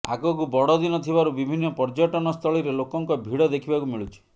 ଆଗକୁ ବଡ଼ ଦିନ ଥିବାରୁ ବିଭିନ୍ନ ପର୍ଯ୍ୟଟନ ସ୍ଥଳୀରେ ଲୋକଙ୍କ ଭିଡ଼ ଦେଖିବାକୁ ମିଳୁଛି